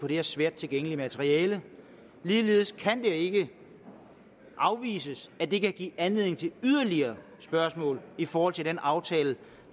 er svært tilgængeligt materiale ligeledes kan det ikke afvises at det kan give anledning til yderligere spørgsmål i forhold til den aftale